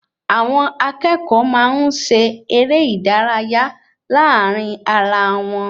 Àwọn akẹ́kọ̀ọ́ máa ń ṣe eré ìdárayá láàrin ará wọn